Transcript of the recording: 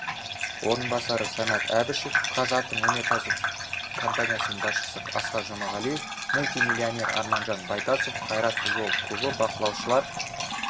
орынбасары самат әбішев қазатомөнеркәсіп компаниясының басшысы асқар жұмағалиев мультимиллионер арманжан байтасов қайрат футбол клубы бақылаушылар